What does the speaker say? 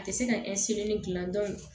A tɛ se ka gilan